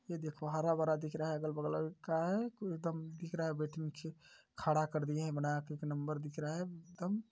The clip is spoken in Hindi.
ये देखो हरा -भरा दिख रहा है अगल बगल एकदम दिख रहा है खड़ा कर दिए हैं बड़ा एक नम्बर दिखा रहा है एकदम--